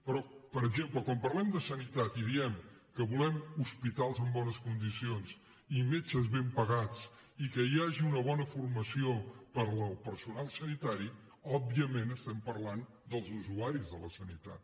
però per exemple quan parlem de sanitat i diem que volem hospitals en bones condicions i metges ben pagats i que hi hagi una bona formació per al personal sanitari òbviament parlem dels usuaris de la sanitat